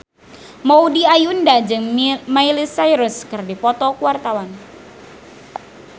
Maudy Ayunda jeung Miley Cyrus keur dipoto ku wartawan